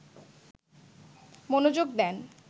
মনোযোগ দেন